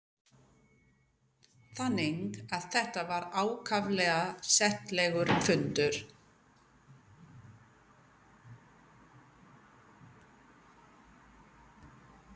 Þannig að þetta var ákaflega settlegur fundur.